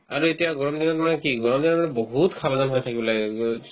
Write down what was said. আৰু এতিয়া গৰম দিনত মানে কি গৰম দিনত মানে বহুত সাৱধান হৈ থাকিব লাগে